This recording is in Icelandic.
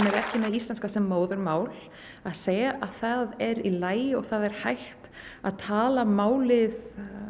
ekki með íslenska sem móðurmál að segja að það er í lagi og það er hægt að tala málið